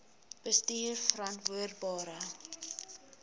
bestuurverantwoordbare